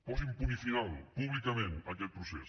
posin punt final públicament a aquest procés